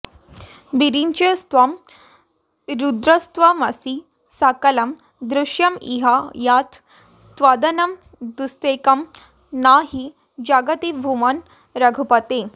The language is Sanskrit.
विरिञ्चिस्त्वं रुद्रस्त्वमसि सकलं दृश्यमिह यत् त्वदन्यद्वस्त्वेकं न हि जगति भूमन् रघुपते